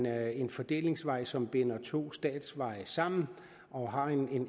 er en fordelingsvej som binder to statsveje sammen og har